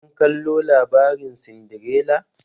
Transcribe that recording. Kun kallo labarin Sindirela?